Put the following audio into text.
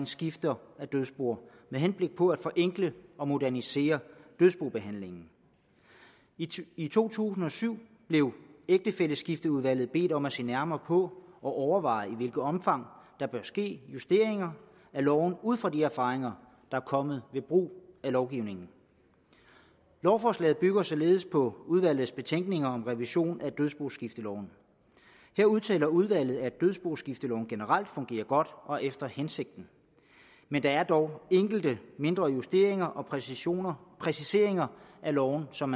skifte af dødsboer med henblik på at forenkle og modernisere dødsbobehandlingen i to tusind og syv blev ægtefælleskifteudvalget bedt om at se nærmere på og overveje i hvilket omfang der bør ske justeringer af loven ud fra de erfaringer der er kommet ved brug af lovgivningen lovforslaget bygger således på udvalgets betænkning om revision af dødsboskifteloven her udtaler udvalget at dødsboskifteloven generelt fungerer godt og efter hensigten men der er dog enkelte mindre justeringer og præciseringer præciseringer af loven som